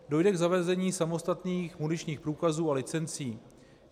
Dojde k zavedení samostatných muničních průkazů a licencí.